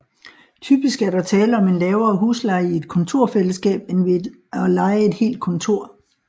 Typisk er der tale om en lavere husleje i et kontorfællesskab end ved at leje et helt kontor